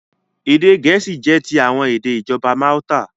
Èdè Gẹ̀ẹ́sì jẹ́ ti àwọn èdè ìjọba Malta.